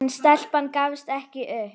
En stelpan gafst ekki upp.